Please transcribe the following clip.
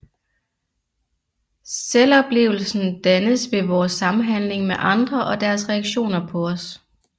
Selvoplevelsen dannes ved vores samhandling med andre og deres reaktioner på os